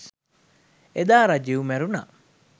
එදා රජිව් මැරුණා